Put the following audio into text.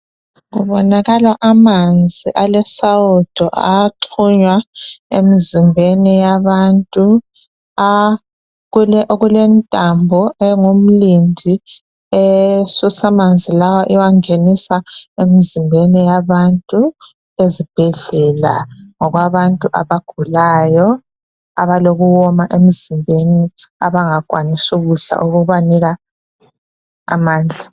Kubonakala amanzi alesawudo axhunywa emzimbeni yabantu kulentambo ingumlindi esusa amanzi lawa iwangenisa emzimbeni yabantu ezibhedlela abantu abagulayo abalokuwoma emzimbeni abangakwanisi ukudla okubanika amandla.